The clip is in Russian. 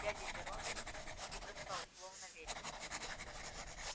дядя верон не бросал слов на ветер